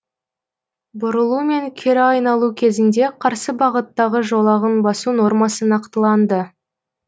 бұрылу мен кері айналу кезінде қарсы бағыттағы жолағын басу нормасы нақтыланды